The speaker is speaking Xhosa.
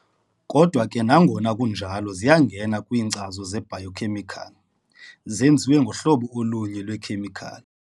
Kodwa ke nangona kunjalo ziyangena kwiinkcazo ze-biochemical- zenziwe kwangohlobo olunye lweekhemikhali.